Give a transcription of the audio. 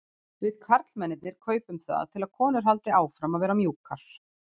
Við karlmennirnir kaupum það til að konur haldi áfram að vera mjúkar.